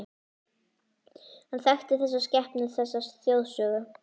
Hann þekkir þessa skepnu, þessa þjóðsögu.